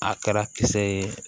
A kɛra kisɛ ye